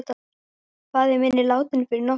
Faðir minn er látinn fyrir nokkrum árum.